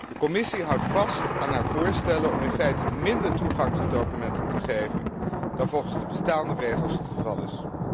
De Commissie houdt vast aan haar voorstellen om in feite minder toegang tot documenten te geven dan wat de bestaande regels vastleggen.